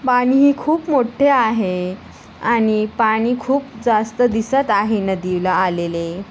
पाणी हे खूप मोट्ठे आहे आणि पाणी खूप जास्त दिसत आहे नदीला आलेले.